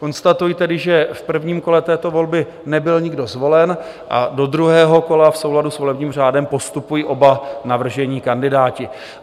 Konstatuji tedy, že v prvním kole této volby nebyl nikdo zvolen a do druhého kola v souladu s volebním řádem postupují oba navržení kandidáti.